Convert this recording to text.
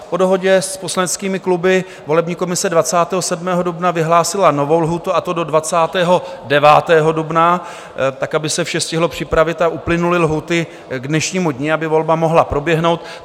Po dohodě s poslaneckými kluby volební komise 27. dubna vyhlásila novou lhůtu, a to do 29. dubna, tak, aby se vše stihlo připravit a uplynuly lhůty k dnešnímu dni, aby volba mohla proběhnout.